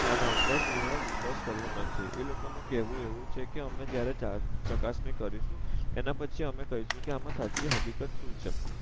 આ ના ઉપર પૂર્ણ વિશ્વાસ કર્યો નથી એ લોકો નું કેવું એવું છે કે અમે જયારે ચાર ચકાસણી કરીશું એના પછી અમે કઈસુ અમે સાચી હકીકત શું છે